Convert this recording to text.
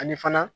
Ani fana